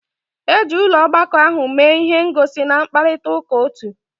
Eji ụlọ ọgbakọ ahụ mee ihe ngosi na mkparịta ụka otu.